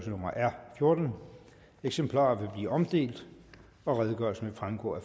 fjortende eksemplarer vil blive omdelt og redegørelsen vil fremgå af